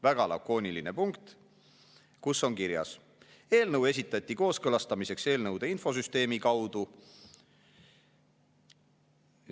Väga lakooniline punkt, kus on kirjas, et eelnõu esitati kooskõlastamiseks eelnõude infosüsteemi kaudu.